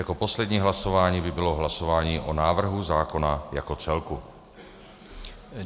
Jako poslední hlasování by bylo hlasování o návrhu zákona jako celku.